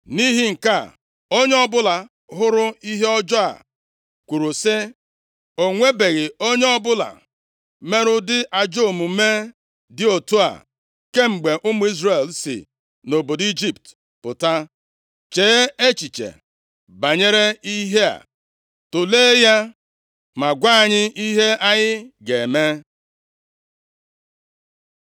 Nʼihi nke a, Onye ọbụla hụrụ ihe ọjọọ a kwuru sị, “O nwebeghị onye ọbụla mere ụdị ajọ omume dị otu a kemgbe ụmụ Izrel si nʼobodo Ijipt pụta. Chee echiche banyere ihe a. Tulee ya ma gwa anyị ihe anyị ga-eme?”